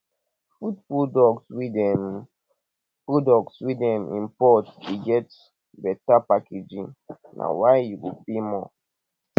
food products wey dem products wey dem import dey get beta packaging na why you go pay more